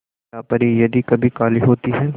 क्या परी यदि कभी काली होती है